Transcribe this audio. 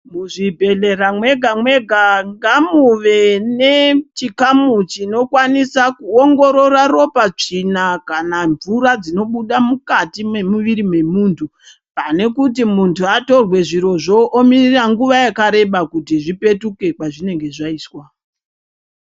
Muzvibhehlera mwega mwega ngamube nechikamu chinokwanisa kuwongorora ropa, tsvina kana mvura dzinobuda mukati mwemuviri wemuntu pane kuti muntu atorwe zvirozvo omirira nguva yakareba kuti zvipetuke kwazvinenge zvaiswa.